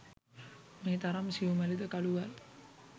මේ තරම් සියුමැලි ද කළු ගල්